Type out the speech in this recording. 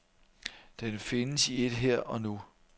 Den findes i et her og nu.